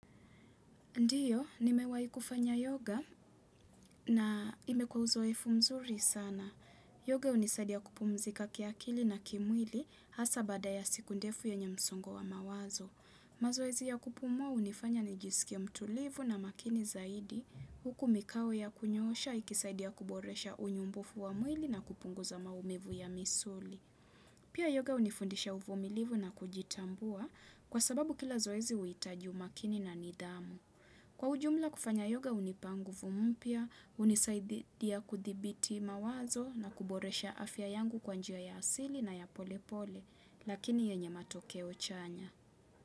Ndiyo, nimewahi kufanya yoga na imekuwa uzoefu mzuri sana. Yoga hunisaidi ya kupumzika kiakili na kimwili hasa baada ya siku ndefu yenye msongo wa mawazo. Mazoezi ya kupumua hunifanya nijisikie mtulivu na makini zaidi, huku mikao ya kunyoosha, ikisaidia kuboresha unyumbufu wa mwili na kupunguza maumivu ya misuli. Pia yoga hunifundisha uvumilivu na kujitambua kwa sababu kila zoezi uitaju umakini na nidhamu. Kwa ujumla kufanya yoga hunipa nguvu mpya, hunisaididia kuthibiti mawazo na kuboresha afya yangu kwa njia ya asili na ya pole pole, lakini yenye matokeo chanya.